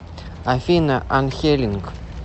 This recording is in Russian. афина анхелинг